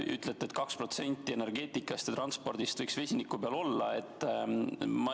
Ütlete, et 2% energeetikast ja transpordist võiks vesiniku peal olla.